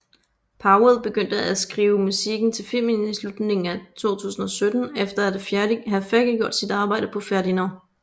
Powell begyndte at skrive musikken til filmen i slutningen af 2017 efter at have færdiggjort sit arbejde på Ferdinand